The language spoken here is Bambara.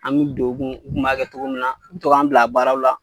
An be don u tun, u kun b'a kɛ cogo min na, u bi to k'an bila baaraw la.